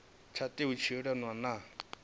tsha tea u dzhielwa nha